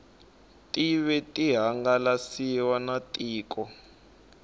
tive ti hangalasiwa na tiko